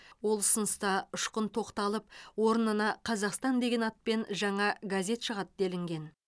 ол ұсыныста ұшқын тоқталып орнына қазақстан деген атпен жаңа газет шығады делінген